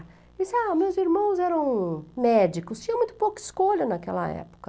Disse, ah, meus irmãos eram médicos, tinha muito pouca escolha naquela época.